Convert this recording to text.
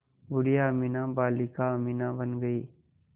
बूढ़िया अमीना बालिका अमीना बन गईं